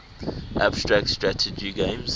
abstract strategy games